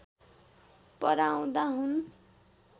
पराउँदा हुन्